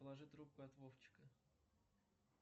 положи трубку от вовчика